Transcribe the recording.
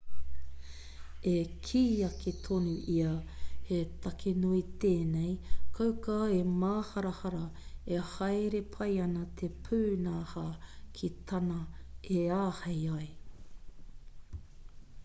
i kī ake tonu ia he take nui tēnei kauka e māharahara e haere pai ana te pūnaha ki tāna e āhei ai